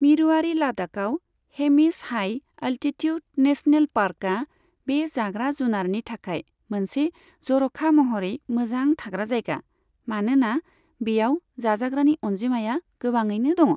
मिरुआरि लादाखआव Hemis high altitude national पार्कआ बे जाग्रा जुनारनि थाखाय मोनसे जर'खा महरै मोजां थाग्रा जायगा, मानोना बेयाव जाजाग्रानि अनजिमाया गोबाङैनो दङ।